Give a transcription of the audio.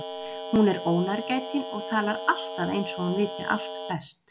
Hún er ónærgætin og talar alltaf eins og hún viti allt best.